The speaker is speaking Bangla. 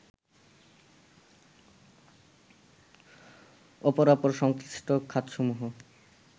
অপরাপর সংশ্লিষ্ট খাতসমূহের